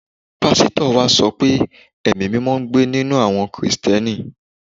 Pásítọ̀ wa sọ pé Ẹ̀mí-mímọ ń gbé ninú àwọ Kìrìsìtíẹ́nì